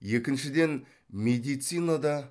екіншіден медицинада